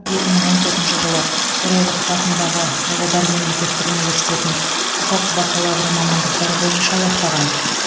екі мың он төртінші жылы торайғыров атындағы павлодар мемлекеттік университетін құқық бакалавры мамандықтары бойынша аяқтаған